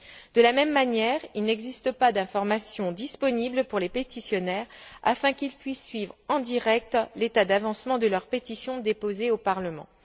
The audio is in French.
De la même manière, il n'existe pas d'informations disponibles pour les pétitionnaires afin qu'ils puissent suivre, en direct, l'état d'avancement de la pétition qu'ils ont déposée au Parlement.